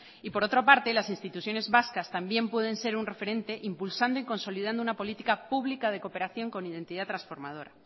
y por otra parte las instituciones vascas también pueden ser un referente impulsando y consolidando una política pública de cooperación con identidad transformadora